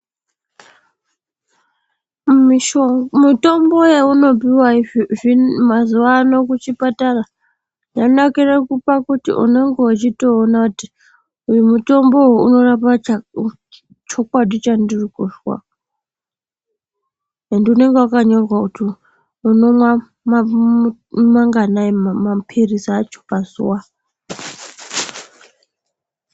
Mitombo yeunopiwa mazuvano kuchipatara yanakire pakuti unenge uchitoona kuti uyu mutombo uyu unorapa chokwadi chandirikuzwa. Ende unenge wakanyorwa kuti unomwa manganai maphilizi acho pazuva.